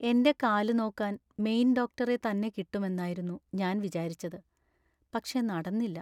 എൻ്റെ കാല് നോക്കാൻ മെയിൻ ഡോക്ടറെ തന്നെ കിട്ടും എന്നായിരുന്നു ഞാൻ വിചാരിച്ചത്; പക്ഷെ നടന്നില്ല.